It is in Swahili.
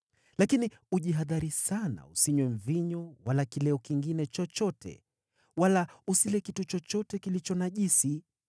Lakini ujihadhari sana usinywe mvinyo wala kileo kingine chochote, wala usile kitu chochote kilicho najisi,